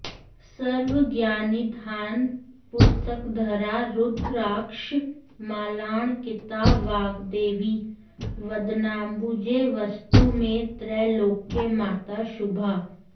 सर्वज्ञाननिधानपुस्तकधरा रुद्राक्षमालाङ्किता वाग्देवी वदनाम्बुजे वसतु मे त्रैलोक्यमाता शुभा